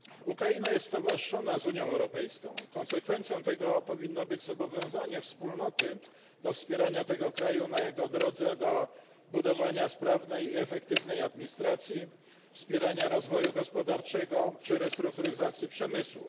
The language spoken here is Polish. Ukraina jest stowarzyszona z Unią Europejską, konsekwencją tego powinno być zobowiązanie Wspólnoty do wspierania tego kraju na jego drodze do budowania sprawnej i efektywnej administracji, wspierania rozwoju gospodarczego czy restrukturyzacji przemysłu.